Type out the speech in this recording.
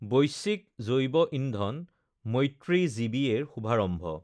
বৈশ্বিক জৈৱইন্ধন মৈত্ৰী জিবিএ ৰ শুভাৰম্ভ